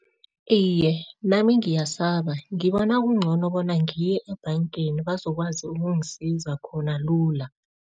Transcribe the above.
Iye, nami ngiyasaba. Ngibona kungcono bona ngiyo ebhangeni bazokwazi ukungisiza khona lula.